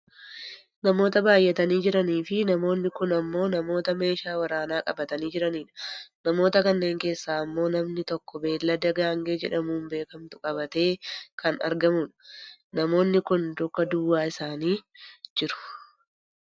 Namoota baayyatanii jiraniifi namoonni kun ammoo namoota meeshaa waraanaa qabatanii jiranidha. namoota kanneen eessaa ammoo namni tokko bineelda gaangee jedhamun beekamtu qabatee kan argamu dha. namoonni kun luka duwwaa isaanii jiru.